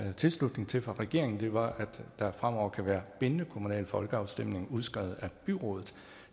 var tilslutning til fra regeringen var at der fremover kan være bindende kommunale folkeafstemninger udskrevet af byrådet